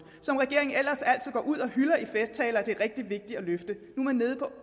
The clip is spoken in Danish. som regeringen ellers altid går ud og hylder i festtaler at det er rigtig vigtigt